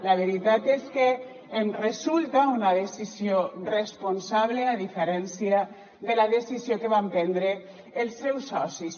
la veritat és que em resulta una decisió responsable a diferència de la decisió que van prendre els seus socis